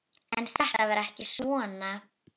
En þetta var ekki svona.